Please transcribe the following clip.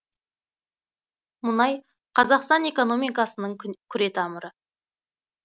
мұнай қазақстан экономикасының күре тамыры